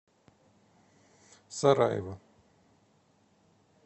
сараево